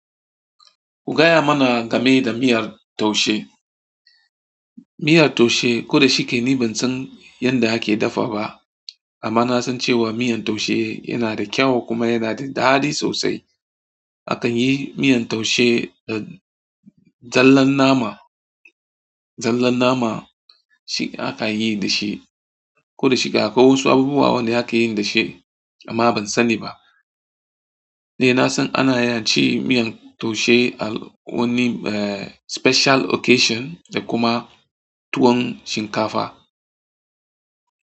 Ku gaya mana game da miyar taushe. Miyar taushe ko da shike ni ban san yadda ake dafa ba, amma na san cewa miyan taushe yana da kyau kuma yana da daɗi sosai. Akan yi miyan taushe da zallan nama, zallan nama shi akanyi dashi, koda shike akwai wasu abubuwa wanda akanyi dashi, amma ban sani ba. Ni na san ana yi ci miyan taushe a wani eh special occasion da kuma tuwon shinkafa.